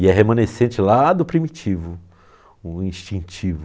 E é remanescente lá do primitivo, o instintivo.